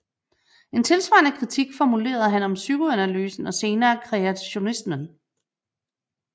En tilsvarende kritik formulerede han om psykolanalysen og senere creationismen